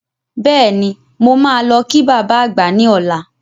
Bẹ́ẹ̀ni, mo máa lọ kí baba àgbà ní ọlá.